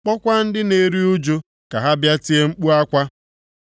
kpọọkwa ndị na-eru ụjụ ka ha bịa tie mkpu akwa.